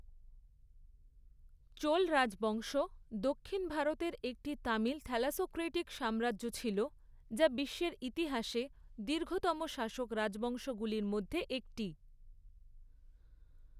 চোল রাজবংশ দক্ষিণ ভারতের একটি তামিল থ্যালাসোক্রেটিক সাম্রাজ্য ছিল, যা বিশ্বের ইতিহাসে দীর্ঘতম শাসক রাজবংশগুলির মধ্যে একটি।